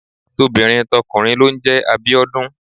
Tobìnrin tọkùnrin ló ń jẹ Abíọ́dún.